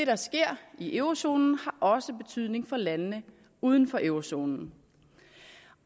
der sker i eurozonen også har betydning for landene uden for eurozonen